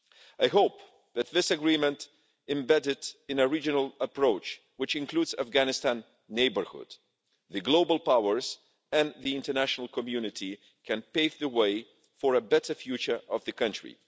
I hope that this Agreement embedded in a regional approach which includes the Afghanistan neighbourhood, the global powers and the international community, can pave the way for a better future for the country.